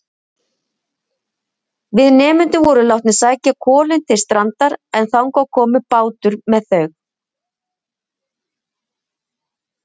Við nemendurnir vorum látnir sækja kolin til strandar en þangað kom bátur með þau.